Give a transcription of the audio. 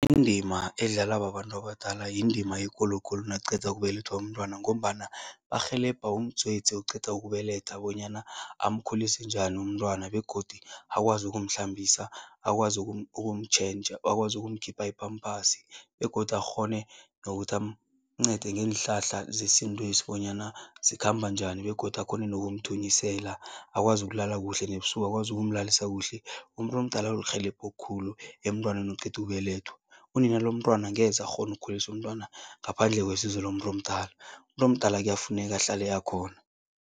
Indima edlalwa babantu abadala yindima ekulu khulu nakuqeda ukubelethwa umntwana ngombana barhelebha umdzwedzi oqeda ukubeletha bonyana amkhulise njani umntwana begodu akwazi ukumhlambisa, akwazi ukumtjhentjha, akwazi ukumkhipha i-Pampers begodu akghone nokuthi amncede ngeenhlahla zesintwesi bonyana zikhamba njani begodu akghone nokumthunyisela, akwazi ukulala kuhle nebusuku, akwazi ukumlalisa kuhle. Umuntu omdala lirhelebho khulu emntwaneni oqeda ukubelethwa. Unina lomntwana angeze akghone ukukhulisa umntwana ngaphandle kwesizo lomuntu omdala, umuntu omdala kuyafuneka ahlale akhona.